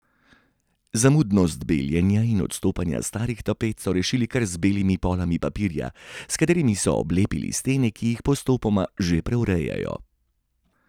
Zamudnost beljenja in odstopanje starih tapet so rešili kar z belimi polami papirja, s katerim so oblepili stene, ki jih postopoma že preurejajo.